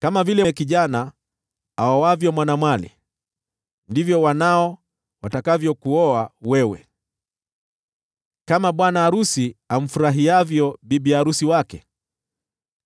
Kama vile kijana aoavyo mwanamwali, ndivyo wanao watakavyokuoa wewe; kama bwana arusi amfurahiavyo bibi arusi wake,